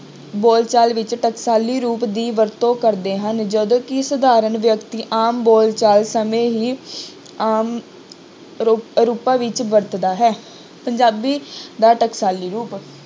ਬੋਲਚਾਲ ਵਿੱਚ ਟਕਸਾਲੀ ਰੂਪ ਦੀ ਵਰਤੋਂ ਕਰਦੇ ਹਨ, ਜਦੋਂ ਕਿ ਸਾਧਾਰਨ ਵਿਅਕਤੀ ਆਮ ਬੋਲਚਾਲ ਸਮੇਂ ਹੀ ਆਮ ਰੁਪ~ ਰੂਪਾਂ ਵਿੱਚ ਵਰਤਦਾ ਹੈ, ਪੰਜਾਬੀ ਦਾ ਟਕਸਾਲੀ ਰੂਪ